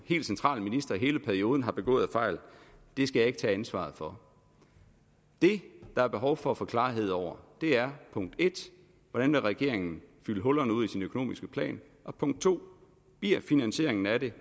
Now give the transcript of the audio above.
helt central minister i hele perioden har begået af fejl skal jeg ikke tage ansvaret for det der er behov for at få klarhed over er punkt 1 hvordan vil regeringen fylde hullerne ud i sin økonomiske plan og punkt 2 bliver finansieringen af det